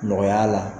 Nɔgɔya la